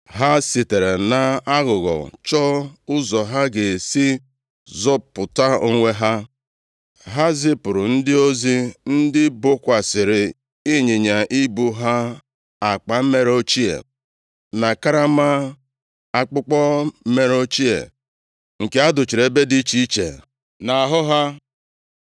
ha sitere nʼaghụghọ chọọ ụzọ ha ga-esi zọpụta onwe ha. Ha zipụrụ ndị ozi, ndị bokwasịrị ịnyịnya ibu ha akpa mere ochie, na karama akpụkpọ mere ochie, nke a duchiri ebe dị iche iche nʼahụ ha.